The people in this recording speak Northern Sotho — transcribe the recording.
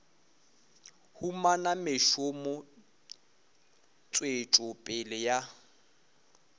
humana mešomo tswetšo pele ya